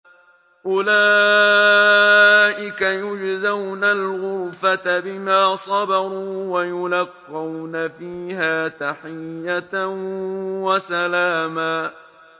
أُولَٰئِكَ يُجْزَوْنَ الْغُرْفَةَ بِمَا صَبَرُوا وَيُلَقَّوْنَ فِيهَا تَحِيَّةً وَسَلَامًا